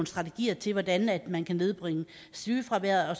strategier til hvordan man kan nedbringe sygefraværet og